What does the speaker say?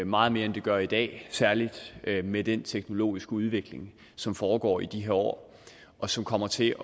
meget mere end det gør i dag særlig med den teknologiske udvikling som foregår i de her år og som kommer til